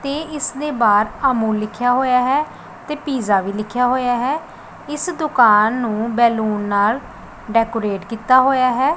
ਤੇ ਇਸਦੇ ਬਾਹਰ ਅਮੁਲ ਲਿਖਿਆ ਹੋਇਆ ਹੈ ਤੇ ਪੀਜ਼ਾ ਵੀ ਲਿਖਿਆ ਹੋਇਆ ਹੈ ਇਸ ਦੁਕਾਨ ਨੂੰ ਬੈਲੂਨ ਨਾਲ ਡੈਕੋਰੇਟ ਕੀਤਾ ਹੋਇਆ ਹੈ।